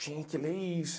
Tinha que ler isso.